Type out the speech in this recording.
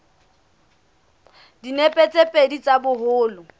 dinepe tse pedi tsa boholo